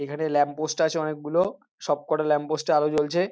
এখানে ল্যাম্পপোস্ট আছে অনেকগুলো সবকটা ল্যাম্পপোস্ট -এ আলো জ্বলছে।